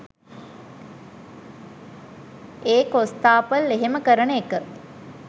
ඒ කොස්තාපල් එහෙම කරන එක